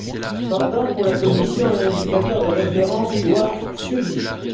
Cependant, pour la Commission, un indicateur de référence doit subsister.